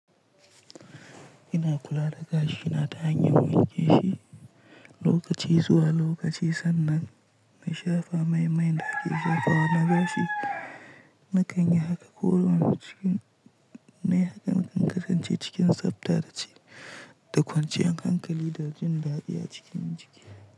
Ina kula da gashi na ta hanyar wanke shi lokaci zuwa lokaci sannan na shafa mai mai gashi zafi wa na gashi. Na kan yi haka ko wane lokaci. Na yi haka don kasance cikin tsabta da ci da kwanciyar hankali da jin daɗi a cikin jiki.